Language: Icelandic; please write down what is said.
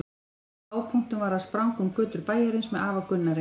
Einn af hápunktunum var að spranga um götur bæjarins með afa Gunnari.